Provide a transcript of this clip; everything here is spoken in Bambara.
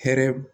Hɛrɛ